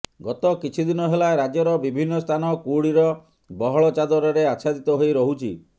ଗତ କିଛି ଦିନ ହେଲା ରାଜ୍ୟର ବିଭିନ୍ନ ସ୍ଥାନ କୁହୁଡ଼ିର ବହଳ ଚାଦରରେ ଆଚ୍ଛାଦିତ ହୋଇ ରହୁଛି